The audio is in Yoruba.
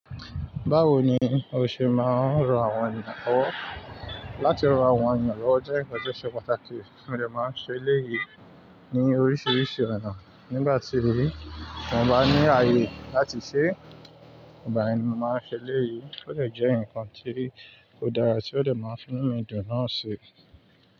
Báwo ni o ṣe máa ń ran àwọn ènìyàn lọ̀wọ̀? Látí ran àwọn ènìyàn lọ̀wọ̀ jẹ́ nkan tì o ṣe pàtàkì mó dẹ̀ máa ń ṣe èléyìí ní oríṣiríṣi ọ̀nà. Nígbà tí mo bá ní ayé láti ṣe é, ígbà yẹ ni mo máa ń ṣe èléyìí. Ó dẹ̀ jẹ́ ǹkan tí ó dára tí ó dẹ̀ máa ń fi nù mí dùn náà ṣi.